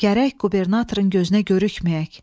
Gərək qubernatorun gözünə görükməyək.